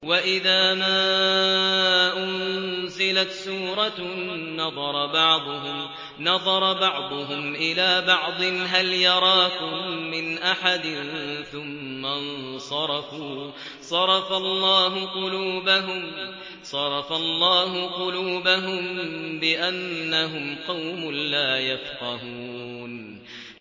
وَإِذَا مَا أُنزِلَتْ سُورَةٌ نَّظَرَ بَعْضُهُمْ إِلَىٰ بَعْضٍ هَلْ يَرَاكُم مِّنْ أَحَدٍ ثُمَّ انصَرَفُوا ۚ صَرَفَ اللَّهُ قُلُوبَهُم بِأَنَّهُمْ قَوْمٌ لَّا يَفْقَهُونَ